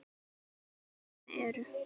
Nokkur dæmi eru